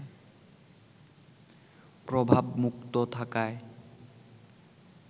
প্রভাবমুক্ত থাকায়